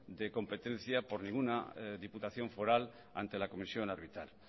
de competencia por ninguna diputación foral ante la comisión arbitral